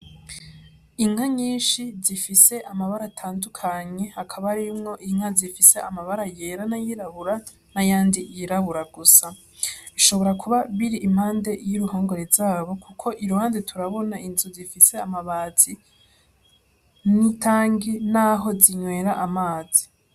Inka nyinshi zifise amabara atandukanye, hakaba harimwo inka zifise amabara yera n'ayirabura n'ayandi yirabura gusa. Bishobora kuba biri impande y'uruhongore rwazo kuko iruhande turabona inzu zifise amabati n'itangi, n'aho zinwera amazi.